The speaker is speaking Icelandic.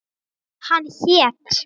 Hann hét